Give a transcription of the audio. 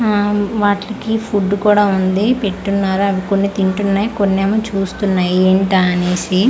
ఆ వాట్లకి ఫుడ్ కూడా ఉంది పెట్టి ఉన్నారు అవి కొన్ని తింటున్నాయి కొన్ని ఏమో చూస్తున్నాయి ఎంటా అనేసి .